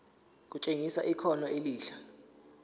kutshengisa ikhono elihle